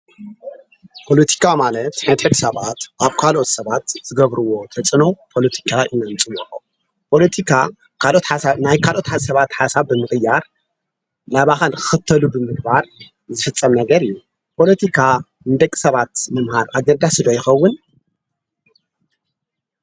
ፖሎቲካ ማለት ንደቂ ሰባት ኣብ ካለኦት ሰባት ዝገብርዎ ተፅዕኖ ፖሎቲካ እዩ፡፡ ፖሎቲካ ናይ ካልኦት ሰባት ሓሳብ ብምቕያር ናባኻል ንኽኽተሉ ብምግባር ዝፍፀም ነገር እዩ፡፡ ፖሎቲካ ንደቂ ሰባት መምሃር ኣገዳሲ ዶ ይኸውን?